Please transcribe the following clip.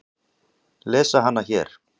Lesa hana hér.